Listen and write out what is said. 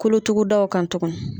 Kolotugudaw kan